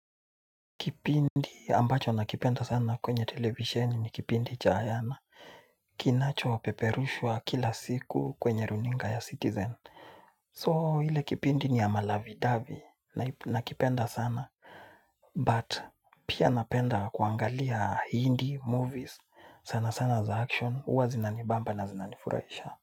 Kipindi ambacho nakipenda sana kwenye televisheni ni kipindi cha ayana. Kinachopeperushwa kila siku kwenye runinga ya citizen. So ile kipindi ni ya malovey dovey nakipenda sana. But pia napenda kuangalia hindi movies. Sana sana za action. Huwa zinanibamba na zinanifurahisha.